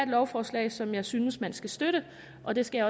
lovforslag som jeg synes man skal støtte og det skal